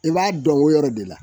I b'a dɔn o yɔrɔ de la